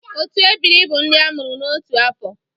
Otu ebiri bu ndị a mụrụ n’otu afọ.